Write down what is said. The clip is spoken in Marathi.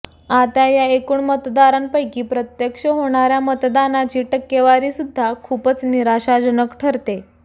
आता या एकूण मतदारांपैकी प्रत्यक्ष होणार्या मतदानाची टक्केवारीसुध्दा खूपच निराशाजनक ठरते